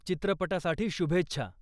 चित्रपटासाठी शुभेच्छा.